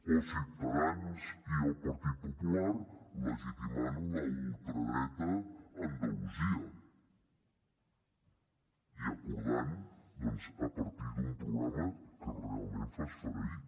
o ciutadans i el partit popular legitimant la ultradreta a andalusia i acordant doncs a partir d’un programa que realment fa esfereir